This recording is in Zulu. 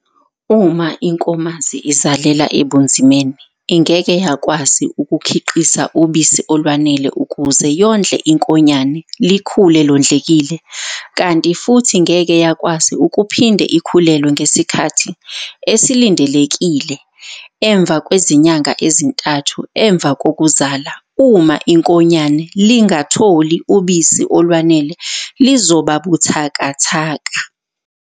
Uma inkomazi izalela ebunzimeni ingeke yakwazi ukukhiqiza ubisi olwanele ukuze yondle inkonyane likhule londlekile. Kanti futhi ngeke yakwazi ukuphinde ikhulelwe ngesikhathi esilindelekile emvakwezinyanga ezintathu emvakokuzala. Uma inkonyane lingatholi ubisi olwanele lizoba buthakathaka.